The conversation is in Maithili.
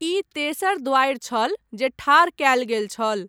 ई तेसर द्वारि छल जे ठाढ़ कयल गेल छल।